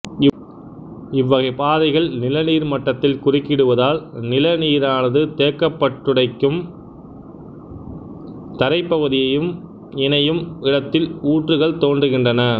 இவ்வகைப் பாறைகள் நில நீர் மட்டத்தில் குறுக்கிடுவதால் நில நீரானது தேக்கப்பட்டு டைக்கும் தரைப்பகுதியும் இணையும் இடத்தில் ஊற்றுகள் தோன்றுகின்றன